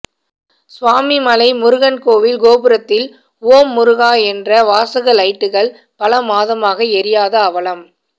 சுவாமிமலை முருகன் கோயில் கோபுரத்தில் ஓம் முருகா என்ற வாசக லைட்டுகள் பல மாதமாக எரியாத அவலம்